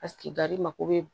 mako be